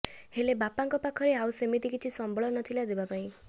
ହେଲେ ବାପାଙ୍କ ପାଖରେ ଆଉ ସେମିତି କିଛି ସମ୍ବଳ ନଥିଲା ଦେବାପାଇଁ